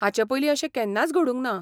हाचे पयलीं अशें केन्नाच घडूंंक ना.